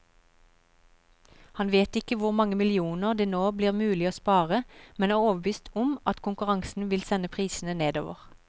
Han vet ikke hvor mange millioner det nå blir mulig å spare, men er overbevist om at konkurransen vil sende prisene nedover.